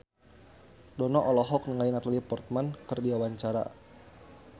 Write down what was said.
Dono olohok ningali Natalie Portman keur diwawancara